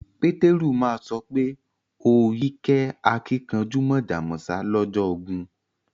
Peteru ma so pe o yí kẹ́ àkìnkanjú mọ̀jọ̀ mọ̀sá lọ́jọ́ ogún